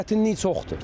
Çətinlik çoxdur.